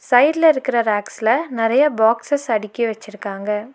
சைடுல இருக்கிற ரேக்ஸ்ல நெறைய பாக்ஸ்சஸ் அடுக்கி வச்சிருக்காங்க.